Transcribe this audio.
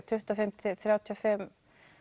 tuttugu og fimm til þrjátíu og fimm